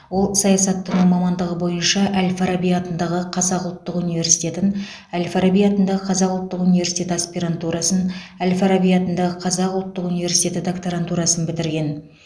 ол саясаттану мамандығы бойынша әл фараби атындағы қазақ ұлттық университетін әл фараби атындағы қазақ ұлттық университеті аспирантурасын әл фараби атындағы қазақ ұлттық университеті докторантурасын бітірген